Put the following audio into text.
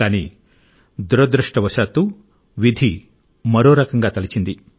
కానీ దురదృష్టవశాత్తు విధి మరో రకంగా తలచింది